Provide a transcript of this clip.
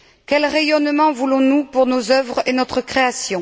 Quel rayonnement voulons nous pour nos œuvres et notre création?